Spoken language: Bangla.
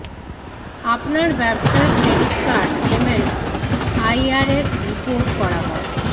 আপনার ব্যবসার credit card payment IRS report করা হয়